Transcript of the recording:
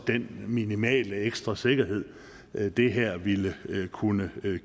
minimale ekstra sikkerhed det her ville kunne